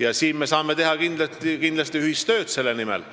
ja me saame kindlasti teha ühist tööd selle nimel.